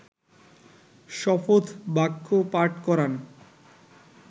শপথ বাক্য পাঠ করান